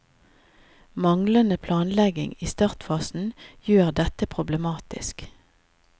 Manglende planlegging i startfasen gjør dette problematisk.